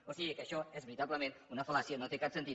o sigui que això és veritablement una fal·làcia no té cap sentit